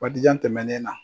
Waati jan tɛmɛnen na